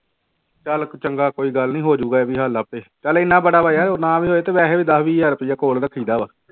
ਚੱਲ ਚੰਗਾ ਕੋਈ ਗੱਲ ਨੀ ਹੋ ਜਾਊਗਾ ਇਹ ਵੀ ਹੱਲ ਆਪੇ ਚੱਲ ਇੰਨਾ ਬੜਾ ਵਾ ਯਾਰ ਉਹ ਨਾ ਵੀ ਹੋਏ ਤੇ ਵੈਸੇ ਵੀ ਦਸ ਵੀਹ ਹਜ਼ਾਰ ਰੁਪਇਆ ਕੋਲ ਰੱਖੀ ਦਾ ਵਾ